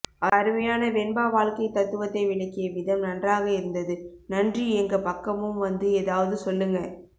அருமையான வெண்பா வாழ்க்கை தத்துவத்தை விளக்கிய விதம் நன்றாக இருந்தது நன்றி எங்க பக்கமும் வந்து எதாவது சொல்லுங்க